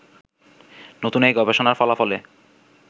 নতুন এই গবেষণার ফলাফলে